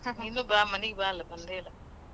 ನೀನೂ ಬಾ ಅಲ್ಲಾ ಮನಿಗೆ ಬಾ ಅಲಾ ಬಂದೇ ಇಲ್ಲಾ.